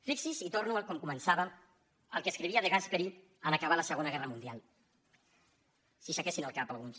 fixi’s i torno a com començava al que escrivia de gasperi en acabar la segona guerra mundial si aixequessin el cap alguns